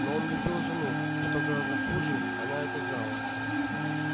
но он любил жену и что гораздо хуже она это знала